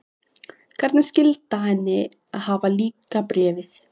Hvernig skyldi henni hafa líkað Bréfið?